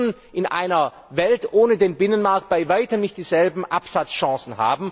Sie hätten in einer Welt ohne den Binnenmarkt bei weitem nicht dieselben Absatzchancen.